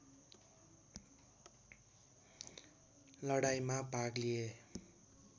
लडाईँमा भाग लिए